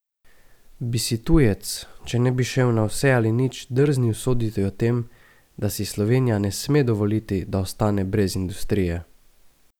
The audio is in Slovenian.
Bi si tujec, če ne bi šel na vse ali nič, drznil soditi o tem, da si Slovenija ne sme dovoliti, da ostane brez industrije?